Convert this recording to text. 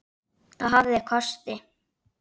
Sólin hlær í hverju blómi.